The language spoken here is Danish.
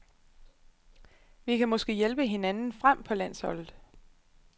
Vi kan måske hjælpe hinanden frem på landsholdet.